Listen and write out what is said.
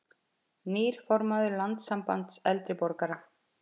Nýr formaður Landssambands eldri borgara